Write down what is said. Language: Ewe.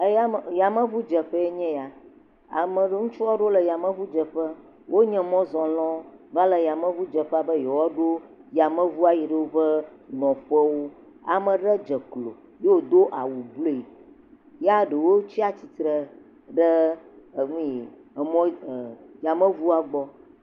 eya . Yameʋu dzeƒe ye nye ya. Ame aɖewo, Ŋutsu aɖewo le yameʋu dzeƒe. Wonye mɔzɔlawo va le yameʋu dzeƒe be yewoa ɖo yameʋu yi woƒe nɔƒe wò. Ame aɖe dze klo ye wodo awu blu, ya ɖewo tsia tsitre ɖe eʋu, enuie, yameʋua gbɔ.